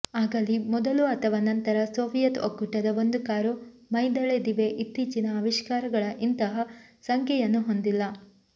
ಆಗಲಿ ಮೊದಲು ಅಥವಾ ನಂತರ ಸೋವಿಯತ್ ಒಕ್ಕೂಟದ ಒಂದು ಕಾರು ಮೈದಳೆದಿವೆ ಇತ್ತೀಚಿನ ಆವಿಷ್ಕಾರಗಳ ಇಂತಹ ಸಂಖ್ಯೆಯನ್ನು ಹೊಂದಿಲ್ಲ